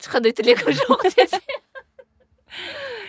ешқандай тілегім жоқ